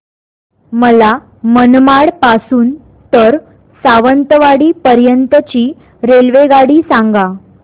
मला मनमाड पासून तर सावंतवाडी पर्यंत ची रेल्वेगाडी सांगा